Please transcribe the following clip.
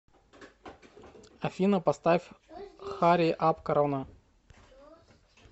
афина поставь хари ап корона